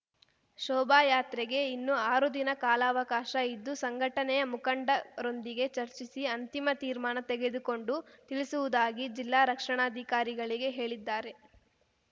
ಶೋಭಾಯಾತ್ರೆಗೆ ಇನ್ನು ಆರು ದಿನ ಕಾಲಾವಕಾಶ ಇದ್ದು ಸಂಘಟನೆಯ ಮುಖಂಡರೊಂದಿಗೆ ಚರ್ಚಿಸಿ ಅಂತಿಮ ತೀರ್ಮಾನ ತೆಗೆದುಕೊಂಡು ತಿಳಿಸುವುದಾಗಿ ಜಿಲ್ಲಾ ರಕ್ಷಣಾಧಿಕಾರಿಗಳಿಗೆ ಹೇಳಿದ್ದಾರೆ